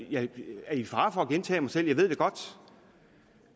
jeg er i fare for at gentage mig selv jeg ved det godt